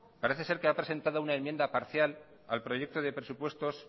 parece ser que ha presentado una enmienda parcial al proyecto de presupuestos